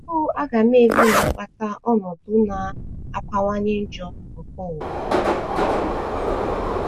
Ònye bụ agamevu na - akpata ọnọdụ na - akawanye njọ nke ụwa?